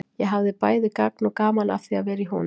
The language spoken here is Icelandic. Ég hafði bæði gagn og gaman af því að vera í honum.